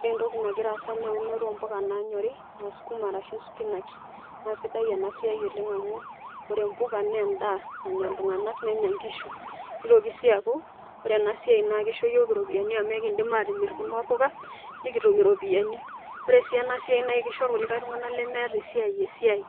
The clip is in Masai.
Ore entoki nagira aasa na eunoto ompuka nanyori, ah sukuma arashu spinach. Na sidai enasiai oleng' amu, ore mpuka na endaa nanya iltung'anak, nenya nkishu. Nitoki si aku, ore enasiai na kisho yiok iropiyiani amu ekidim atimiri kuna puka, nikitum iropiyiani. Ore si enasiai na kisho kulie tung'anak lemeeta esiai, esiai.